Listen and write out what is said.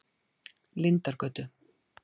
Lindargötu